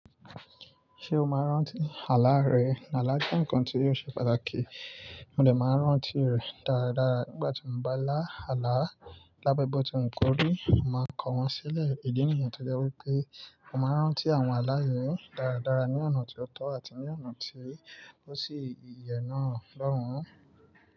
Ṣé o máa rán tí àlá rẹ? Ǹ àlá jẹ́ ǹkan tí yóò ṣe pàtàkì, mo dẹ máa rántí rẹ̀ dáradára nígbà tí mo bá lá àlá. Lábébọ̀ tí n kóri, mo máa kọ wọn sílẹ̀ idi nìyẹn t'ojẹ wípé, mo máa rántí àwọn alá yii dáradára ní ọ̀nà tí ó tọ́ àti ní ọ̀nà tí ó sì yè náà lọ́wọ́n.